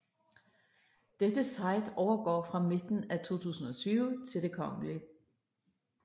Dette site overgår fra midten af 2020 til Det Kgl